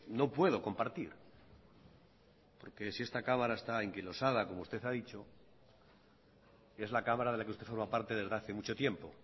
no puedo compartir porque si esta cámara está anquilosada como usted ha dicho es la cámara de la que usted forma parte desde hace mucho tiempo